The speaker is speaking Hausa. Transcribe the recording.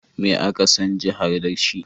Me aka san jihar da shi?